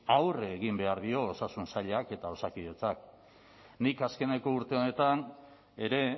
aurre egin behar dio osasun sailak eta osakidetzak nik azkeneko urte honetan ere